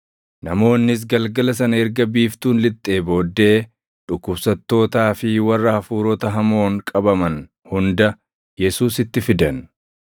Namoonnis galgala sana erga biiftuun lixxee booddee, dhukkubsattootaa fi warra hafuurota hamoon qabaman hunda Yesuusitti fidan.